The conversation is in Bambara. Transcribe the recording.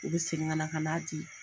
U bɛ segin ka na ka n'a di.